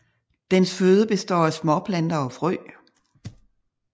Dens føde består af småplanter og frø